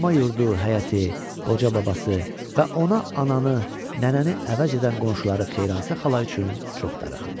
Ana yurdu, həyəti, qoca babası və ona ananı, nənəni əvəz edən qonşuları Xeyransa xala üçün çox darıxırdı.